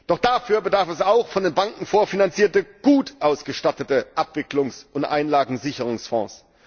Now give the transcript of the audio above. Doch dafür bedarf es auch von den Banken vorfinanzierter gut ausgestatteter Abwicklungs und Einlagensicherungsfonds.